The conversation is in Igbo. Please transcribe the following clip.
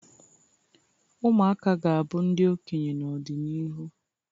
Ụmụaka ga-abụ ndị okenye n'ọdịnihu